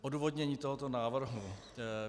Odůvodnění tohoto návrhu.